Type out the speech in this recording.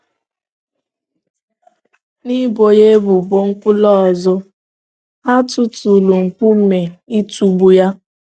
N’ibo ya ebubo nkwulu ọzọ, ha tụtụụrụ nkume ịtụgbu ya.